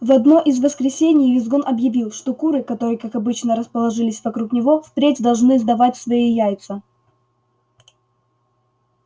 в одно из воскресений визгун объявил что куры которые как обычно расположились вокруг него впредь должны сдавать свои яйца